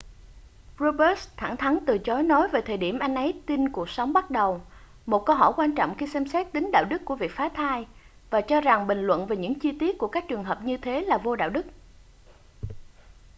roberts thẳng thắn từ chối nói về thời điểm anh ấy tin cuộc sống bắt đầu một câu hỏi quan trọng khi xem xét tính đạo đức của việc phá thai và cho rằng bình luận về những chi tiết của các trường hợp như thế là vô đạo đức